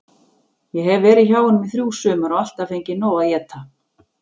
Ég hef verið hjá honum í þrjú sumur og alltaf fengið nóg að éta.